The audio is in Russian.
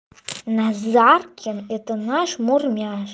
назаркин это наш мурмяш